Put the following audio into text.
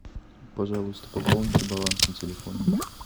пожалуйста пополните баланс на телефоне